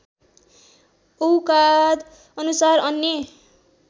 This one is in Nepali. औकाद अनुसार अन्य